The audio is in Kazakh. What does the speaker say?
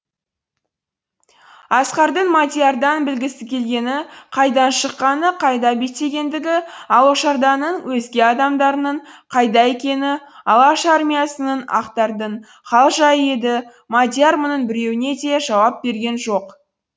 асқардың мадиярдан білгісі келгені қайдан шыққаны қайда беттегендігі алашорданың өзге адамдарының қайда екені алаш армиясының ақтардың хал жайы еді мадияр мұның біреуіне де жауап берген жоқ